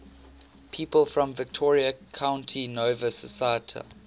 people from victoria county nova scotia